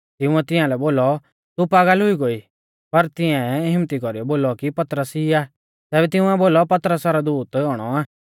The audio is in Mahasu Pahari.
तिंउऐ तिंआलै बोलौ तू पागल हुई गोई पर तिंआऐ हिम्मत्ती कौरीयौ बोलौ कि पतरस ई आ तैबै तिंउऐ बोलौ पतरसा रौ दूत औणौ आ